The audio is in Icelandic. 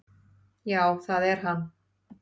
"""Já, það er hann."""